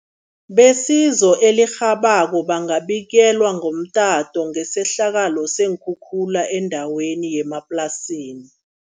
Besizo elirhabako bangabikelwa ngomtato ngesehlakalo seenkhukhula endaweni yemaplasini.